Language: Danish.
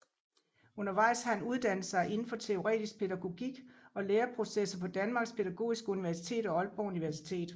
Undervejs har han uddannet sig inden for teoretisk pædagogik og læreprocesser på Danmarks Pædagogiske Universitet og Aalborg Universitet